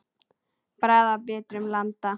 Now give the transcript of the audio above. Bragð af bitrum landa.